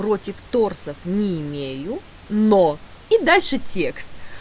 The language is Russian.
против торсов не имею но и дальше текст